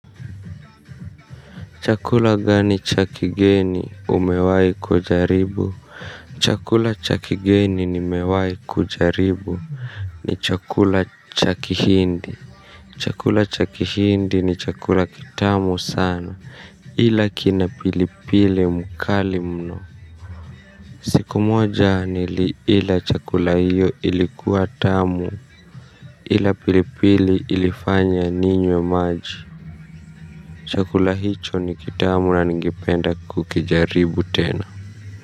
Chakula gani cha kigeni umewahi kujaribu. Chakula cha kigeni nimewahi kujaribu. Ni chakula cha kihindi. Chakula cha kihindi ni chakula kitamu sana ila kina pilipili mkali mno. Siku moja nili ila chakula hiyo ilikuwa tamu. Ila pilipili ilifanya ninywe maji chakula hicho ni kitamu na ningependa kukijaribu tena.